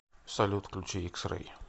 салют включи икс рэй